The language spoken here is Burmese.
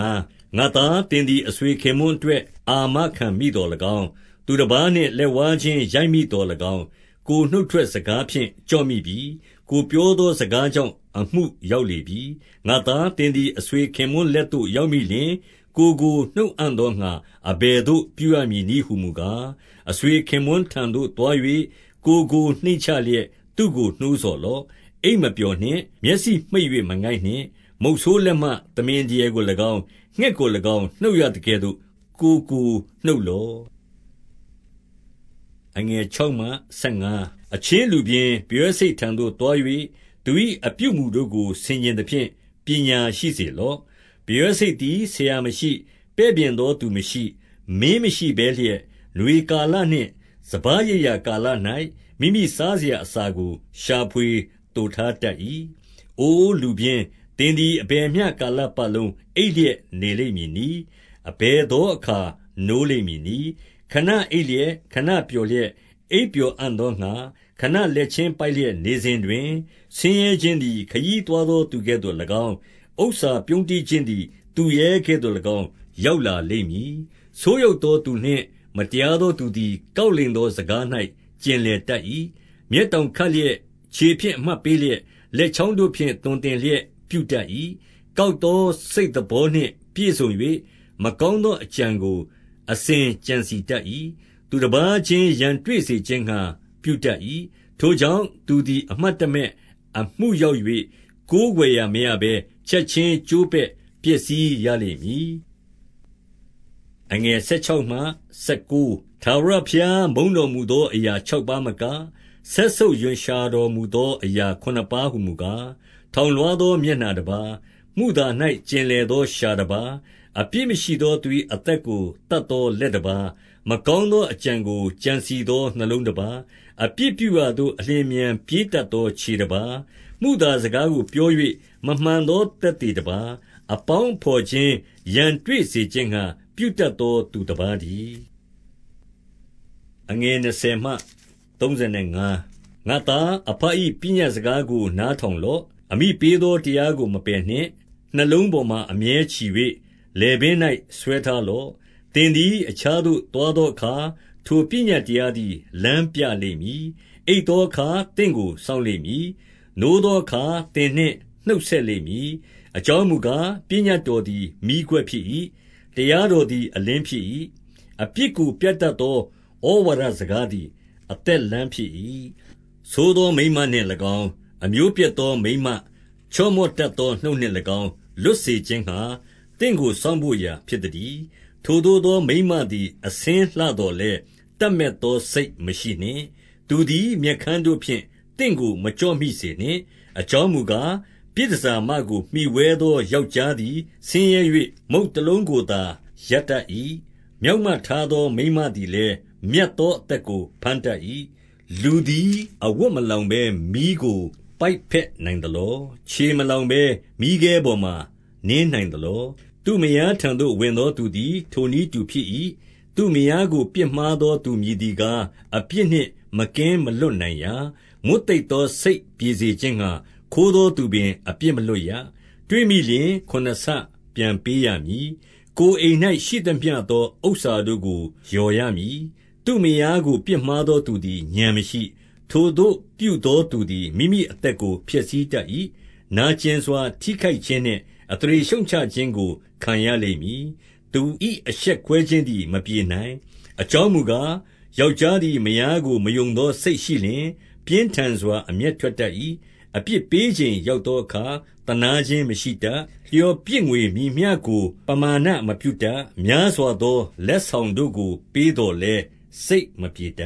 ငါ့သား၊ သင်သည် အဆွေခင်ပွန်းအတွက် အာမခံမိသော်၎င်း၊ သူတပါးနှင့်လက်ဝါးချင်း ရိုက်မိ သော်၎င်း၊ 2 ကိုယ်နှုတ်ထွက်စကားဖြင့် ကျော်မိပြီ။ ကိုယ် ပြောသောစကားကြောင့် အမှုရောက်လေပြီ။ 3 ငါ့သား၊ သင်သည် အဆွေခင်ပွန်းလက်သို့ ရောက်မိလျှင်၊ ကိုယ်ကို နှုတ်အံ့သောငှါ အဘယ်သို့ ပြုရမည်နည်းဟူမူကား၊ အဆွေခင်ပွန်းထံသို့ သွား၍၊ ကိုယ်ကိုနှိမ့်ချလျက်သူ့ကို နှိုးဆော်လော့။ 4 အိပ်မပျော်နှင့်။ မျက်စိမှိတ်၍ မငိုက်နှင့်။ 5 မုဆိုးလက်မှ သမင်ဒရယ်ကို၎င်း၊ ငှက်ကို၎င်း နှုတ်ရသကဲ့သို့ ကိုယ်ကိုနှုတ်လော့။ 6 အချင်းလူပျင်း၊ ပရွက်ဆိတ်ထံသို့သွား၍၊ သူ၏ အပြုအမူတို့ကို ဆင်ခြင်သဖြင့် ပညာရှိစေလော့။ 7 ပရွတ်ဆိတ်သည်ဆရာမရှိ၊ ပဲ့ပြင်သောသူမရှိ၊ မင်းမရှိဘဲလျက်၊ 8 နွေကာလနှင့် စပါးရိတ်ရာကာလ၌ မိမိ စားစရာအစာကို ရှာဖွေသိုထားတတ်၏။ 9 အိုလူပျင်း၊ သင်သည် အဘယ်မျှကာလပတ်လုံး အိပ်လျက်နေလိမ့်မည်နည်း။ အဘယ်သော အခါနိုးလိမ့်မည် နည်း။ 10 ခဏအိပ်လျက်၊ ခဏပျော်လျက်၊ အိပ်ပျော် အံ့သောငှါ ခဏလက်ချင်းပိုက်လျက် နေစဉ်တွင်၊ 11 ဆင်းရဲခြင်းသည် ခရီးသွားသော သူကဲ့သို့၎င်း၊ ဥစ္စာပြုန်းတီးခြင်းသည် သူရဲကဲ့သို့၎င်း ရောက်လာ လိမ့်မည်။ 12 ဆိုးယုတ်သော သူနှင့်မတရားသောသူသည် ကောက်လိမ်သော စကား၌ ကျင်လည်တတ်၏။ 13 မျက်တောင်ခတ်လျက်၊ ခြေဖြင့် အမှတ်ပေး လျက်၊ လက်ချောင်းတို့ဖြင့် သွန်သင်လျက် ပြုတတ်၏။ 14 ကောက်သော စိတ်သဘောနှင့် ပြည့်စုံ၍၊ မကောင်းသော အကြံကို အစဉ်ကြံစည်တတ်၏။ သူတပါးချင်းရန်တွေ့စေခြင်းငှါ ပြုတတ်၏။ 15 ထိုကြောင့်သူသည် အမှတ်တမဲ့အမှုရောက်၍၊ ကိုးကွယ်စရာဘဲ ချက်ခြင်းကျိုးပဲ့ပျက်စီးရလိမ့်မည်။ 16 ထာဝရဘုရား မုန်းတော်မူသော အရာ ခြောက် ပါးမက၊ စက်ဆုပ်ရွံ့ရှာတော်မူသောအရာ ခုနစ်ပါး ဟူမူကား၊ 17 ထောင်လွှားသော မျက်နှာတပါး၊ မုသာ၌ ကျင် လည်သော လျှာတပါး၊ အပြစ်မရှိသောသူ၏ အသက်ကို သတ်သော လက်တပါး၊ 18 မကောင်းသော အကြံကို ကြံစည်သော နှလုံး တပါး၊ အပြစ်ပြုရာသို့ အလျင်အမြန် ပြေးတတ်သော ခြေတပါး၊ 19 မုသာစကားကိုပြော၍ မမှန်သောသက်သေ တပါး၊ အပေါင်းအဘော်ချင်း ရန်တွေ့စေခြင်းငှါ ပြုတတ် သော သူတပါးတည်း။ 20 ငါ့သား၊ အဘ၏ပညတ်စကားကို နားထောင် လော့။ အမိပေးသော တရားကို မပယ်နှင့်။ 21 နှလုံးပေါ်မှာ အမြဲချည်၍ လည်ပင်း၌ ဆွဲထား လော့။ 22 သင်သည် အခြားသို့ သွားသောအခါ၊ ထိုပညတ် တရားသည် လမ်းပြလိမ့်မည်။ အိပ်သောအခါ သင့်ကို စောင့်လိမ့်မည်။ နိုးသောအခါ သင်နှင့် နှုတ်ဆက် လိမ့်မည်။ 23 အကြောင်းမူကား၊ ပညတ်တော်သည် မီးခွက် ဖြစ်၏။ တရားတော်သည် အလင်းဖြစ်၏။ အပြစ်ကို ပြတတ်သော ဩဝါဒစကားသည် အသက်လမ်းဖြစ်၏။ 24 ဆိုးသောမိန်းမနှင့်၎င်း၊ အမျိုးပျက်သော မိန်းမ ချော့မော့တတ်သော နှုတ်နှင့်၎င်းလွတ်စေခြင်းငှါ၊ သင့်ကို စောင့်ဘို့ရာဖြစ်သတည်း။ 25 ထိုသို့သောမိန်းမသည် အဆင်းလှသော်လည်း၊ တပ်မက်သော စိတ်မရှိနှင့်။ သူသည် မျက်ခမ်းတို့ဖြင့် သင့်ကိုမကျော့မိစေနှင့်။ 26 အကြောင်းမူကား၊ ပြည်တန်ဆာမကို မှီဝဲသော ယောက်ျားသည် ဆင်းရဲ၍၊ မုန့်တလုံးကိုသာ ရတတ်၏။ မျောက်မထားသော မိန်းမသည်လည်း မြတ်သောအသက် ကို ဘမ်းတတ်၏။ 27 လူသည်အဝတ်မလောင်ဘဲ မီးကို ပိုက်ဘက်နိုင် သလော။ 28 ခြေမလောင်ဘဲမီးခဲပေါ်မှာ နင်းနိုင်သလော။ 29 သူ့မယားထံသို့ဝင်သောသူသည် ထိုနည်းတူ ဖြစ်၏။ သူ့မယားကို ပြစ်မှားသော သူမည်သည်ကား၊ အပြစ် နှင့် မကင်းမလွတ်နိုင်ရာ၊ 30 မွတ်သိပ်သော စိတ်ပြေစေခြင်းငှါ၊ ခိုးသောသူ ပင် အပြစ်မလွတ်ရ။ 31 တွေ့မိလျှင် ခုနစ်ဆပြန်ပေးရမည်။ ကိုယ်အိမ်၌ ရှိသမျှသော ဥစ္စာတို့ကို လျော်ရမည်။ 32 သူ့မယားကိုပြစ်မှားသော သူသည် ဥာဏ်မရှိ။ ထိုသို့ပြုသော သူသည် မိမိအသက်ကို ဖျက်ဆီးတတ်၏။ 33 နာကျင်စွာ ထိခိုက်ခြင်းနှင့် အသရေရှုတ်ချခြင်း ကို ခံရလိမ့်မည်။ သူ၏အရှက်ကွဲခြင်းသည် မပြေနိုင်။ 34 အကြောင်းမူကား၊ ယောက်ျားသည် မယားကို မယုံသောစိတ်ရှိလျှင်၊ ပြင်းထန်စွာ အမျက်ထွက်တတ်၏။ အပြစ်ပေးချိန်ရောက်သောအခါ သနားခြင်းမရှိတတ်။ 35 လျော်ပြစ်ငွေမည်မျှကို ပမာဏမပြုတတ်။ များစွာသော လက်ဆောင်တို့ကိုပေးသော်လည်း စိတ် မပြေတ